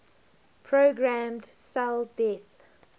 programmed cell death